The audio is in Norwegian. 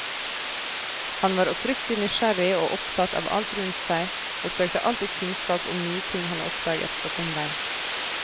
Han var oppriktig nysgjerrig og opptatt av alt rundt seg, og søkte alltid kunnskap om nye ting han oppdaget på sin vei.